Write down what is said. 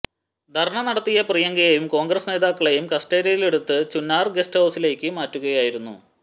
ധർണ്ണ നടത്തിയ പ്രിയങ്കയേയും കോൺഗ്രസ് നേതാക്കളേയും കസ്റ്റഡിയിലെടുത്ത് ചുനാർ ഗസ്റ്റ് ഹൌസിലേക്ക് മാറ്റുകയായിരുന്നു